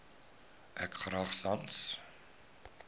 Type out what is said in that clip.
ek graag sans